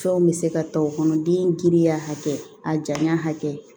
Fɛnw bɛ se ka ta o kɔnɔ den giriya hakɛ a janya hakɛ